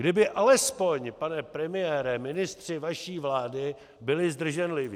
Kdyby alespoň, pane premiére, ministři vaší vlády byli zdrženliví.